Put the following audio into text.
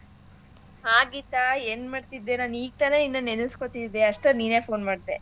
ಹಾ ಗೀತಾ ಏನ್ಮಾಡ್ತಿದ್ದೆ ನಾನ್ ಈಗ್ ತಾನೇ ನಿನ್ನ ನೆನಸ್ಕೊತಿದ್ದೆ ಅಷ್ಟರಲ್ ನೀನೇ phone ಮಾಡ್ದೆ.